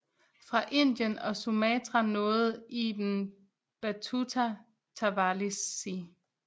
Fra Indien og Sumatra nåede Ibn Battuta Tawalisi